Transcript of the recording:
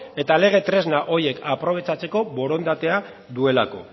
eta lege tresna horiek aprobetxatzeko borondatea duelako